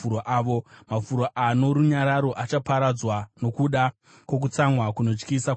Mafuro ano runyararo achaparadzwa nokuda kwokutsamwa kunotyisa kwaJehovha.